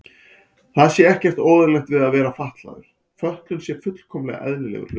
Það sé ekkert óeðlilegt við að vera fatlaður, fötlun sé fullkomlega eðlilegur hlutur.